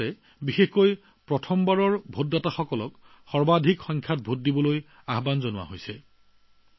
ইয়াৰ জৰিয়তে বিশেষকৈ যিসকলে প্ৰথমবাৰৰ বাবে ভোটদান কৰিছেতেওঁলোকক অধিক সংখ্যক ভোটদানৰ বাবে আহ্বান জনোৱা হৈছে